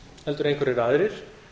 heldur einhverjir aðrir